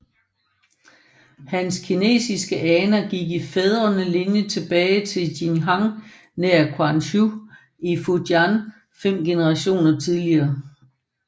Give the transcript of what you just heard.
Hans kinesiske aner gik i den fædrende linje tilbage til Jinjiang nær Quanzhou i Fujian fem generationer tidligere